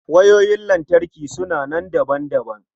Wayoyin lantarki suna nan daban-daban.